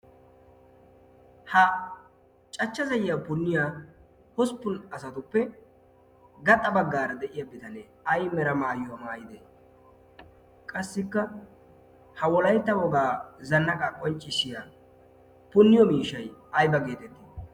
Ha cachcha zayyiya punniya hosppun asatuppe gaxa baggaara de"iya bitanee ay mera maayuwa maayidee? Qassikka ha wolaytta wogaa zannaqaa qonccissiya punniyo miishshayi ayba geetettii?